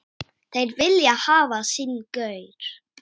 Þeir vilja hafa sinn gaur.